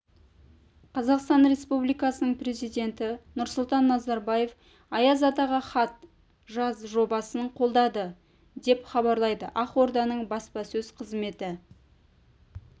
қазақстан республикасының президенті нұрсұлтан назарбаев аяз атаға хат жаз жобасын қолдады деп хабарлайды ақорданың баспасөз қызметі